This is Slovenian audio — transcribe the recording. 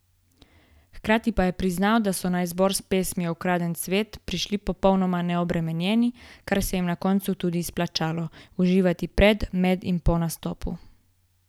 Hkrati pa je priznal, da so na izbor s pesmijo Ukraden cvet prišli popolnoma neobremenjeni, kar se jim je na koncu tudi izplačalo: "Uživati pred, med in po nastopu!